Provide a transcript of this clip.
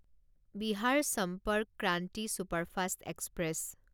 Bihar Sampark Kranti superfast express